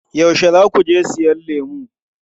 Yaushe za ku je siyan lemu?